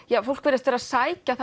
fólk virðist vera að sækja